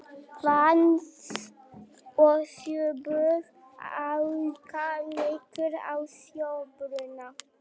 Vatns- og sjóböð auka líkur á sólbruna.